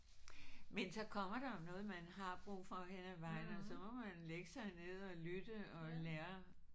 Men så kommer der jo noget man har brug for hen ad vejen og så må man lægge sig ned og lytte og lære